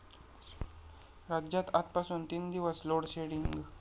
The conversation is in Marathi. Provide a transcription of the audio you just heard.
राज्यात आजपासून तीन दिवस लोडशेडिंग